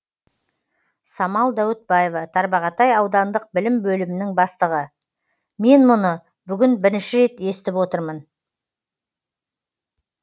самал дәуітбаева тарбағатай аудандық білім бөлімінің бастығы мен мұны бүгін бірінші рет естіп отырмын